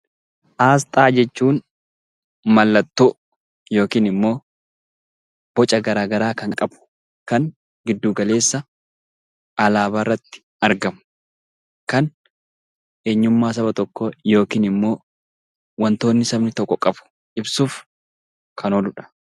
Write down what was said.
Asxaa jechuun mallattoo yookiin boca garagaraa kan qabu kan kan giddu galeessa alaabaa irratti argamu kan eenyummaa saba tokkoo yookiin wantoota sabni tokko qabu ibsuuf kan ooludha.